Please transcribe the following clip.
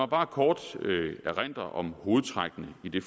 bare kort erindre om hovedtrækkene i det